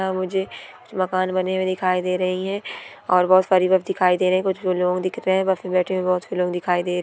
वहां मुझे मकान बने हुए दिखाई दे रही है और बहुत सारे लोग दिखाई दे रहे कुछ लोग बस में बेठे बहुत से लोग दिखाई दे रहे |